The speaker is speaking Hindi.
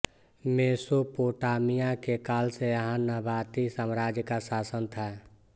मेसोपोटामिया के काल से यहाँ नबाती साम्राज्य का शासन था